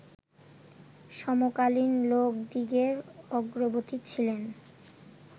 সমকালিক লোকদিগের অগ্রবর্তী ছিলেন